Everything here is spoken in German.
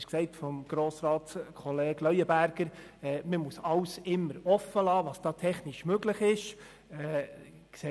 Es wurde von Grossrat Leuenberger gesagt, man müsse sich alle technischen Möglichkeiten offen halten.